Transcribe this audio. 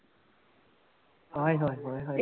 ਹਾਏ ਹਾਏ